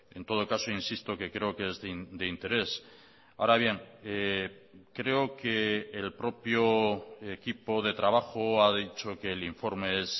en todo caso insisto que creo que es de interés ahora bien creo que el propio equipo de trabajo ha dicho que el informe es